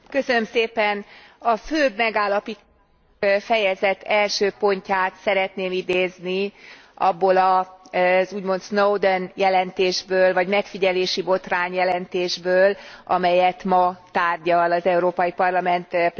A fő megállapítást, a fejezet első pontját szeretném idézni abból az úgymond Snowden jelentésből, vagy megfigyelésibotrány jelentésből, amelyet ma tárgyal az Európai Parlament plenáris ülése.